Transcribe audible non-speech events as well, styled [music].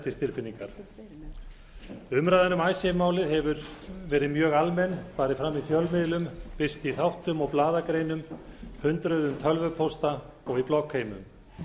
til réttlætistilfinningar umræðan um [unintelligible] málið hefur verið mjög almenn farið fram í fjölmiðlum birst í þáttum og blaðagreinum hundruðum tölvupósta og í bloggheimum